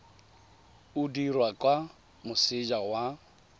o dirwa kwa moseja wa